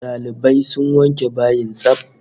Dalibai sun wanke bayin tsaf